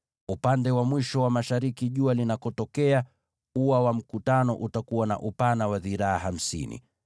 Upande wa mwisho wa mashariki jua linakochomoza, ua pia utakuwa na upana wa dhiraa hamsini.